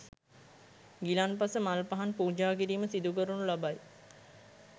ගිලන්පස මල් පහන් පූජාකිරීම සිදුකරනු ලබයි.